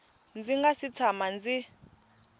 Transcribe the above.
ndzi nga si tshama ndzi